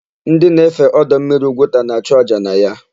Ndị na-efe ọdọmmiri Ugwuta na-achụ àjà na ya.